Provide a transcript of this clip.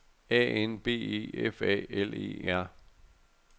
A N B E F A L E R